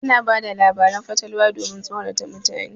Ana bada labarin fatalwa domin tsorata mutane.